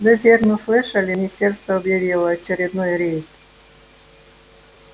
вы верно слышали министерство объявило очередной рейд